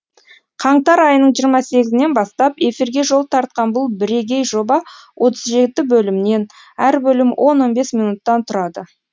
қаңтар айының жиырма сегізінен бастап эфирге жол тартқан бұл бірегей жоба отыз жеті бөлімнен әр бөлімі он он бес минуттан тұрады